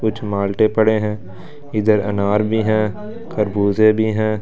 कुछ माल्टे पड़े हैं इधर अनार भी हैं खरबूजे भी हैं।